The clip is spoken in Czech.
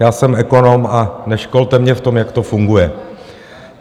Já jsem ekonom a neškolte mě v tom, jak to funguje.